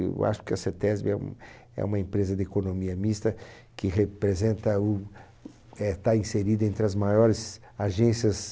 Eu acho que a CETESBI é um, é uma empresa de economia mista que representa o, eh, está inserida entre as maiores agências